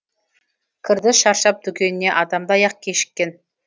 кірді шаршап дүкеніне адамдай ақ кешіккен